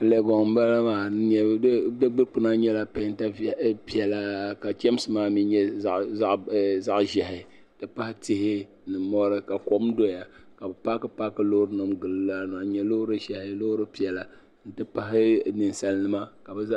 Legoŋ n bala maa.di dikpuna nyala pɛnta pɛla ka chamsi. maami nyɛ zaɣi zɛhi n ti pahi tihi ni mɔri ka kom doya ka bi paaki paaki loori nim n-gili laa maa n nye lɔɔri zɛhi lɔɔri pɛla nti pahi ninsalinima.